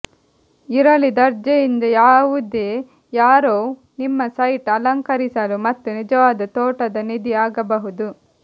ಇರಲಿ ದರ್ಜೆಯಿಂದ ಯಾವುದೇ ಯಾರೋವ್ ನಿಮ್ಮ ಸೈಟ್ ಅಲಂಕರಿಸಲು ಮತ್ತು ನಿಜವಾದ ತೋಟದ ನಿಧಿ ಆಗಬಹುದು